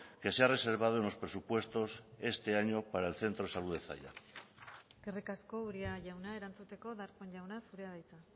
que se ha reservado en los presupuestos este año para el centro de salud de zalla eskerrik asko uria jauna erantzuteko darpón jauna zurea da hitza